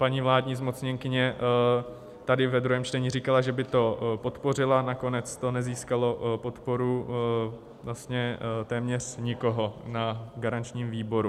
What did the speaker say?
Paní vládní zmocněnkyně tady ve druhém čtení říkala, že by to podpořila, nakonec to nezískalo podporu vlastně téměř nikoho na garančním výboru.